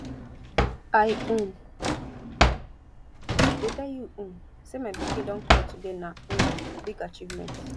i um dey tell you um say my pikin don crawl today na um big achievement